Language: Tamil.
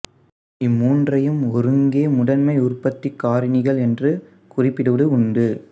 இம்மூன்றையும் ஒருங்கே முதன்மை உற்பத்திக் காரணிகள் என்றும் குறிப்பிடுவது உண்டு